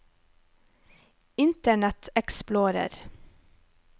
internet explorer